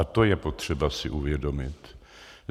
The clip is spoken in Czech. A to je potřeba si uvědomit.